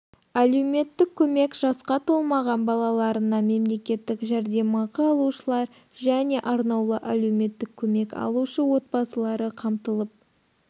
әлеуметтік көмек жасқа толмаған балаларына мемлекеттік жәрдемақы алушылар және арнаулы әлеуметтік көмек алушы отбасылары қамтылып